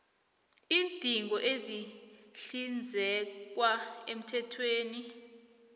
iindingo ezihlinzekwa emthethweni